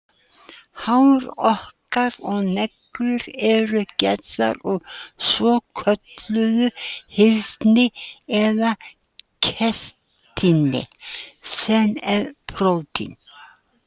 Hár okkar og neglur eru gerðar úr svokölluðu hyrni eða keratíni sem er prótín.